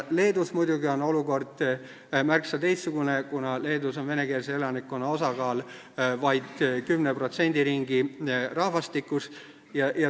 Leedus on olukord muidugi märksa teistsugune, kuna Leedus on venekeelse elanikkonna osakaal vaid 10% riigi rahvastikust.